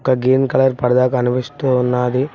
ఒక green colour పరదా కనిపిస్తూ ఉన్నది.